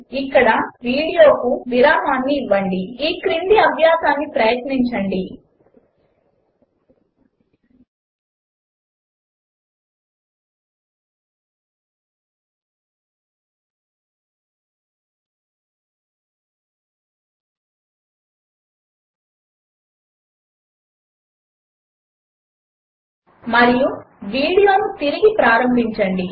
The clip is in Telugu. ఇక్కడ వీడియోకు విరామము ఇవ్వండి ఈ క్రింది అభ్యాసమును ప్రయత్నించండి మరియు వీడియోను తిరిగి ప్రారంభించండి